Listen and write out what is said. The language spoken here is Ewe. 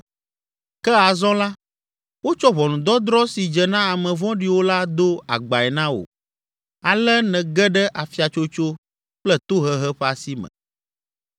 Ke azɔ la, wotsɔ ʋɔnudɔdrɔ̃ si dze na ame vɔ̃ɖiwo la do agbae na wò, ale nège ɖe afiatsotso kple tohehe ƒe asi me.